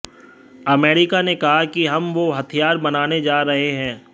America ने कहा कि हम वो हथियार बनाने जा रहे हैं